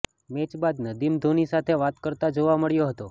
match બાદ નદીમ ધોની સાથે વાત કરતો જોવા મળ્યો હતો